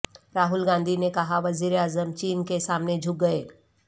راہل گاندھی نے کہا وزیراعظم چین کے سامنے جھک گئے